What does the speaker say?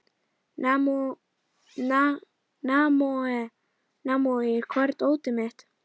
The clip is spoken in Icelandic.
Naomí, hvar er dótið mitt?